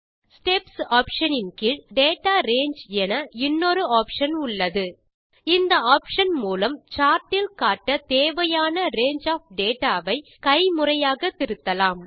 steps option ன் கீழ் data range என இன்னொரு ஆப்ஷன் உள்ளது இந்த ஆப்ஷன் மூலம் சார்ட் இல் காட்ட தேவையான ரங்கே ஒஃப் டேட்டா ஐ கைமுறையாக திருத்தலாம்